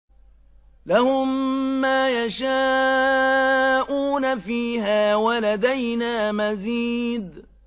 لَهُم مَّا يَشَاءُونَ فِيهَا وَلَدَيْنَا مَزِيدٌ